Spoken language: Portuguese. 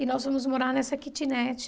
E nós fomos morar nessa kitnet.